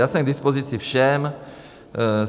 Já jsem k dispozici všem.